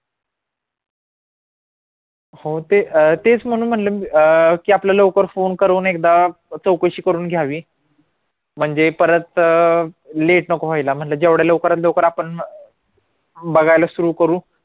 हो ते अं तेच म्हणून म्हणलं मी अह की आपलं लवकर फोन करून एकदा चवकशी करून घ्यावी म्हणजे परत अं late नको होयला म्हणलं जेवढ्या लवकरात लवकर आपण बघायला सुरु करू